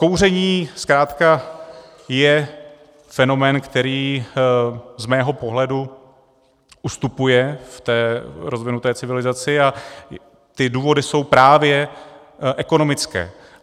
Kouření zkrátka je fenomén, který z mého pohledu ustupuje v té rozvinuté civilizaci, a ty důvody jsou právě ekonomické.